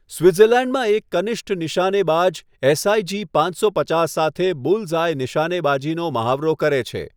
સ્વિટ્ઝર્લેન્ડમાં એક કનિષ્ટ નિશાનેબાજ એસઆઈજી પાંચસો પચાસ સાથે બુલ્સ આય નીશાનેબાજીનો મહાવરો કરે છે.